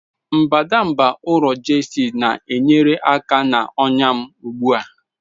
Mbadamba ụrọ Gestid na-enyere aka na ọnya m ugbu a.